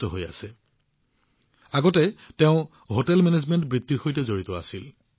আপোনালোকে কল্পনা কৰিব পাৰে যে তেওঁৰ তপস্যা কিমান মহান আগতে তেওঁ হোটেল মেনেজমেণ্টৰ বৃত্তিৰ সৈতে জড়িত আছিল